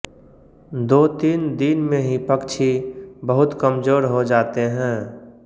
दो तीन दिन में ही पक्षी बहुत कमजोर हो जाते है